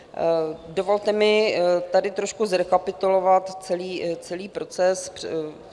Dovolte mi tady trošku zrekapitulovat celý proces.